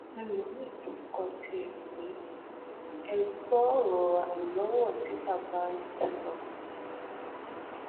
ẹlòmíín tún kọ tiẹ pè v gbọ ọrọ àìlọwọ tí bàbá yìí ń sọ